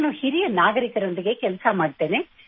ನಾನು ಹಿರಿಯ ನಾಗರಿಕರೊಂದಿಗೆ ಕೆಲಸ ಮಾಡುತ್ತೇನೆ